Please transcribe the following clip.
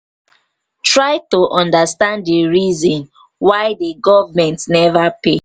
try to understand di reason why di governement nova pay